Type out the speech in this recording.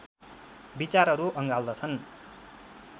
विचारहरू अँगाल्दछन्